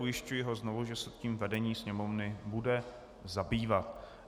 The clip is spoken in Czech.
Ujišťuji ho znovu, že se tím vedení Sněmovny bude zabývat.